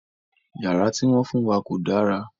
Yàrá ti wọn fun wa ko dàrà